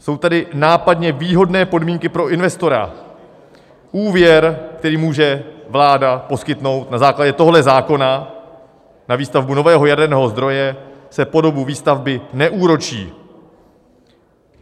Jsou tady nápadně výhodné podmínky pro investora: úvěr, který může vláda poskytnout na základě tohoto zákona na výstavbu nového jaderného zdroje, se po dobu výstavby neúročí.